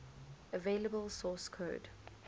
available source code